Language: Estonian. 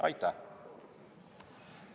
Aitäh!